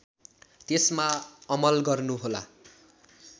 त्यसमा अमल गर्नुहोला